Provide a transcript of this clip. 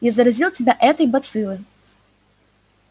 я заразил тебя этой бациллой